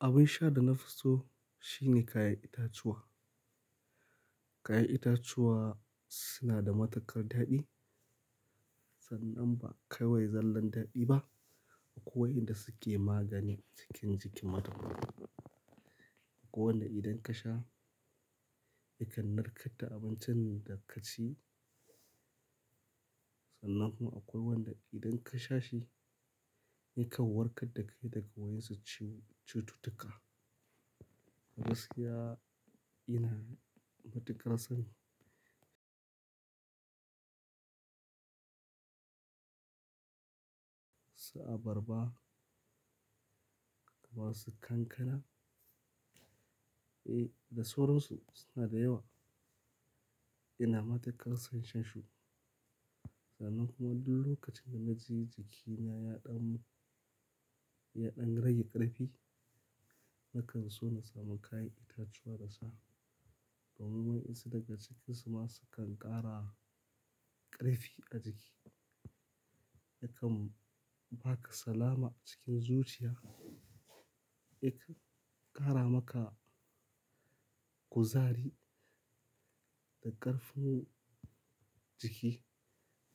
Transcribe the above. Abin sha da na fi so shine kayan itatuwa. Kayan itatuwa suna da matuƙar daɗi, sannan ba kawai zallan daɗi ba, akwai inda suke magani cikin jikin mutum. Akwai wanda idan ka sha yakan narkar da abincin da ka ci, sannan kuma akwai wanda idan ka sha shi yakan warkar da kai daga wayan su cututtuka. Gaskiya ina matuƙar son su abarba, kamar su kankana, eh, da sauran su suna da yawa. Ina matuƙar son shan su, sannan kuma duk lokacin da na ji jikina ya ɗan, ya ɗan rage ƙarfi, nakan so na samu kayan itatuwa na sha. Domin wayansu daga cikin su ma sukan ƙara ƙarfi a jiki, yakan ba ka salama cikin zuciya, yakan ƙara maka kuzari da ƙarfin jiki